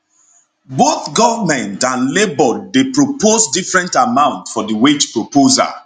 both goment and labour dey propose different amount for di wage proposal